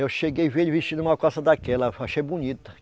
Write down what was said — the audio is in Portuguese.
Eu cheguei e vi ele vestindo uma calça daquela, achei bonita.